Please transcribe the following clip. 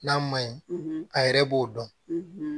N'a ma ɲi a yɛrɛ b'o dɔn